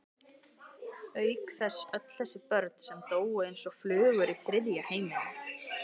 Auk þess öll þessi börn sem dóu eins og flugur í þriðja heiminum.